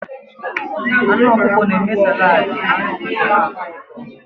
Anụ ọkụkọ na-eme saladi anu ọkụkọ na-atọ ụtọ.